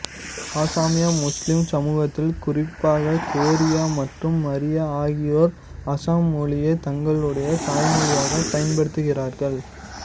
அசாமிய Muslim சமூகத்தில் குறிப்பாக கோரியா மற்றும் மரியா ஆகியோர் அசாம் மொழியை தங்களுடைய தாய்மொழியாகப் பயன்படுத்துகிறார்கள்